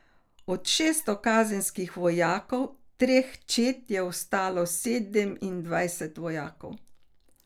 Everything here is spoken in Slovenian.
Od šeststo kazenskih vojakov treh čet je ostalo sedemindvajset vojakov ...